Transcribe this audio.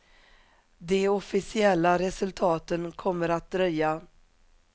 De officiella resultaten kommer att dröja.